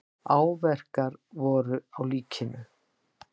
Áverkar voru á líkinu.